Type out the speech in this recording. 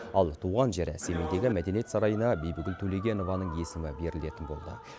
ал туған жері семейдегі мәдениет сарайына бибігүл төлегенованың есімі берілетін болды